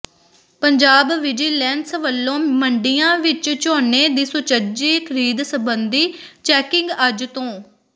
Punjab vigilance ਵੱਲੋਂ ਮੰਡੀਆਂ ਵਿੱਚ ਝੋਨੇ ਦੀ ਸੁਚੱਜੀ ਖਰੀਦ ਸਬੰਧੀ ਚੈਕਿੰਗ ਅੱਜ ਤੋਂ